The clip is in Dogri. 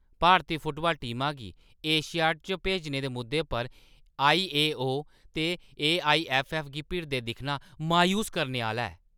भारती फुटबाल टीमा गी एशियाड च भेजने दे मुद्दे पर आईओए ते एआईऐफ्फऐफ्फ गी भिड़दे दिक्खना मायूस करने आह्‌ला ऐ।